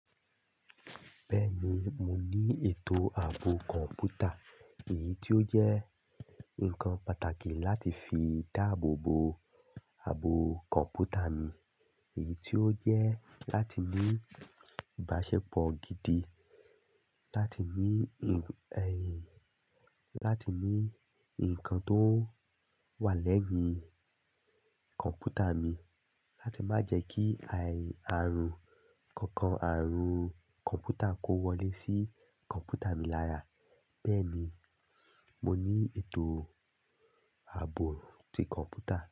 Bẹ́ẹ̀ni, mo ní ètò ààbò kọ̀ǹpútà, èyí tí ó jẹ́ ǹkan pàtàkì láti fi dáàbò bo ààbò kọ̀ǹpútà mi. Èyí tí ó jẹ́ láti ní ìbáṣepọ̀ gidi láti ní ẹ̀yìn, láti ní ǹkan tó wà lẹ́yìn kọ̀ǹpútà mi láti má jẹ́ kí àì ààrùn kankan, àarùn kọ̀ǹpútà kó wọlé sí kọ̀ǹpútà mi lára. Bẹ́ẹ̀ni, mo ní ètò ààbò ti kọ̀ǹpútà.